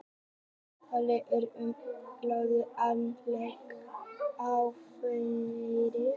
Talað er um pólitískt sálufélag, andlegt sálufélag og fleira.